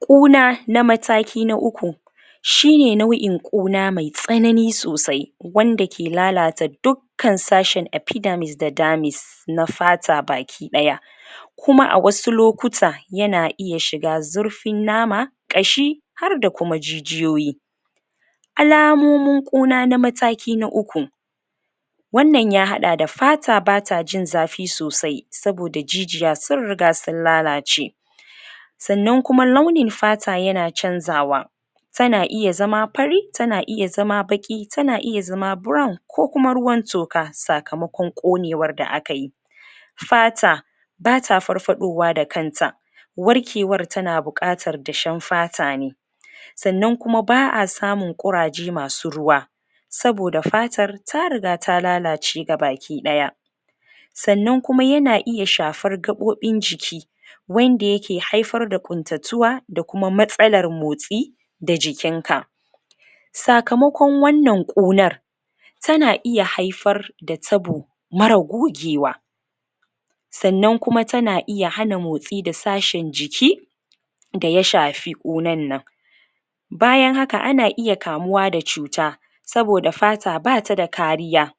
ƙuna na mataki na uku shine nau'in ƙuna mai tsanai sosai wanda ke lalata duk kan sashin epidermis da dermis na fata baki ɗaya kuma a wasu lokuta yana iya shiga zurfin nama ƙashi harda kuma jijiyoyi alamomin ƙuna na mataki na uku wannan ya hada da fata bat jin zafi sosai saboda jijiya sun riga sun lalace sanan kuma launin fata yana canzawa tana iya zama pari tana iya zama baƙi tana iya zama brown ko kuma ruwan toka sakamakon ƙunewar da akayi fata bata farfaɗowa da kanta warkewar tana buƙatar dashen fata ne sanan kuma ba'a samun ƙuraje masu ruwa saboda fatar tariga ta lalace baki ɗaya sannan kuma yana iya shafar gaɓoɓin jiki wanda yake haifar da ƙutatuwa dakuma matsalar motsi da jikin ka sakamakon wannan ƙunar tana iya haifar da tabo mara gugewa sannan kuma iya hana motsi da sashen jiki daya shafi ƙunan nan bayan haka ana iya kamuwa da cuta saboda fata bata da kariya